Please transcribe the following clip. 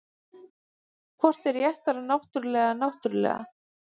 hvort er réttara náttúrlega eða náttúrulega